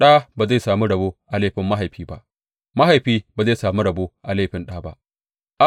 Ɗa ba zai sami rabo a laifin mahaifi ba, mahaifi ba zai sami rabo a laifi ɗa ba.